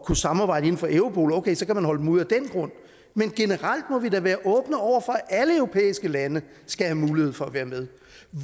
kunne samarbejde inden for europol og okay så kan man holde dem ude af den grund men generelt må vi da være åbne over for at alle europæiske lande skal have mulighed for at være med